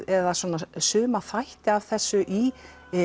eða suma þætti af þessu í